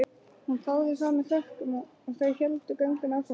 Hún þáði það með þökkum og þau héldu göngunni áfram.